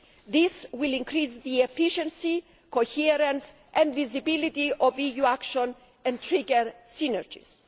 This will increase the efficiency, coherence and visibility of EU action, and trigger synergies.